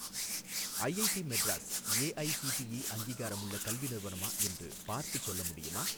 IIT Madras AICTE அங்கீகாரமுள்ள கல்வி நிறுவனமா என்று பார்த்துச் சொல்ல முடியுமா?